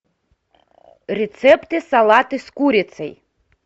рецепты салаты с курицей